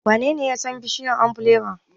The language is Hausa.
Wanene ya san bishiyar ombirela?